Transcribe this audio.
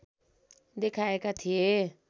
देखाएका थिए